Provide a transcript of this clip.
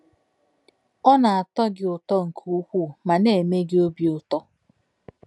Ọ na-atọ gị ụtọ nke ukwuu ma na-eme gị obi ụtọ.